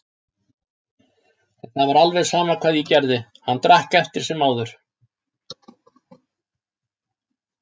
En það var alveg sama hvað ég gerði, hann drakk eftir sem áður.